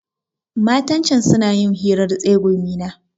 Matan can suna yin hirar tsegumi ne.